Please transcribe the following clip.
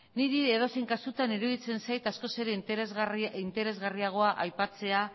niri edozein kasutan iruditzen zait askoz ere interesgarriagoa aipatzea